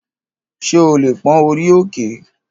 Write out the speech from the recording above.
Ṣé o lè pón orí òkè?